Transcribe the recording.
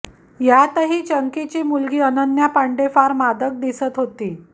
यातही चंकीची मुलगी अनन्या पांडे फार मादक दिसत होती